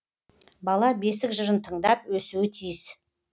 бала бесік жырын тыңдап өсуі тиіс